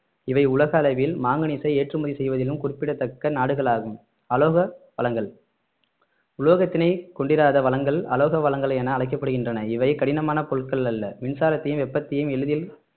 இவை உலக அளவில் மாங்கனீசு ஏற்றுமதி செய்வதிலும் குறிப்பிடத்தக்க நாடுகள் ஆகும் அலோக வளங்கள் உலோகத்தினை கொண்டிராத வளங்கள் அலோக வளங்கள் என அழைக்கப்படுகின்றன இவை கடினமான பொருட்கள் அல்ல மின்சாரத்தையும் வெப்பத்தையும் எளிதில்